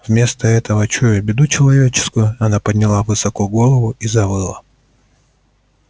вместо этого чуя беду человеческую она подняла высоко голову и завыла